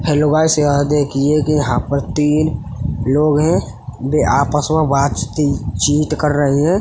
Hello guys यह देखिये कि यहाँं पर तीन लोग हैं वे आपस में बात चित कर रहे हैं।